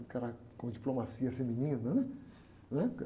Um cara com diplomacia feminina, né? Né?